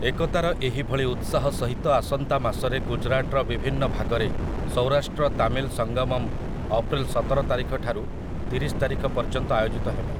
ଏକତାର ଏହିଭଳି ଉତ୍ସାହ ସହିତ ଆସନ୍ତା ମାସରେ ଗୁଜରାଟର ବିଭିନ୍ନ ଭାଗରେ ସୌରାଷ୍ଟ୍ର ତାମିଲ୍ ସଂଗମମ୍ ଅପ୍ରେଲ ସତର ତାରିଖଠାରୁ ତିରିଶ ତାରିଖ ପର୍ଯ୍ୟନ୍ତ ଆୟୋଜିତ ହେବ ।